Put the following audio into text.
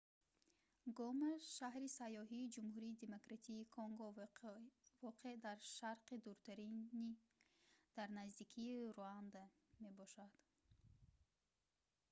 гома шаҳри сайёҳии ҷумҳурии демократии конго воқеъ дар шарқи дуртарин дар наздикии руанда мебошад